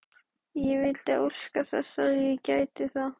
Ég vildi óska að ég gæti það.